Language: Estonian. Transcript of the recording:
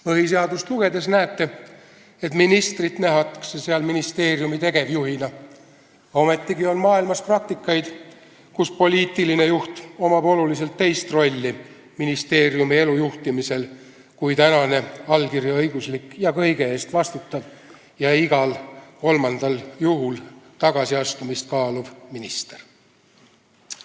Põhiseadust lugedes näete, et ministrit nähakse seal ministeeriumi tegevjuhina, ometigi on maailmas praktikaid, kus poliitilisel juhil on ministeeriumi elu juhtimisel hoopis teine roll kui tänane allkirjaõiguslik, kõige eest vastutav ja igal kolmandal juhul tagasiastumist kaaluv minister.